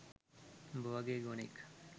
උඹ වගේ ගොනෙක්